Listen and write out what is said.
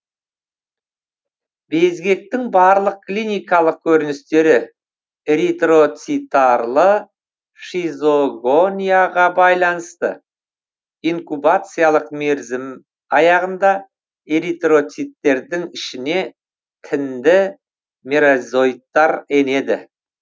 безгектің барлық клиникалық көріністері эритроцитарлы щизогонияға байланысты инкубациялық мерзім аяғында эритроциттердің ішіне тінді меразоиттар енеді